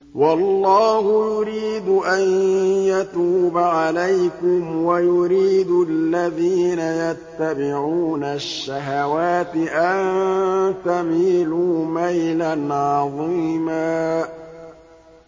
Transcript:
وَاللَّهُ يُرِيدُ أَن يَتُوبَ عَلَيْكُمْ وَيُرِيدُ الَّذِينَ يَتَّبِعُونَ الشَّهَوَاتِ أَن تَمِيلُوا مَيْلًا عَظِيمًا